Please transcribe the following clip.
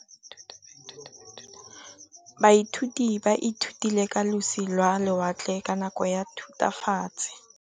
Baithuti ba ithutile ka losi lwa lewatle ka nako ya Thutafatshe.